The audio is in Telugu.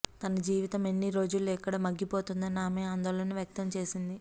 తన జీవితం ఎన్నిరోజులు ఇక్కడ మగ్గిపోతోందోనని ఆమె ఆందోళన వ్యక్తం చేసింది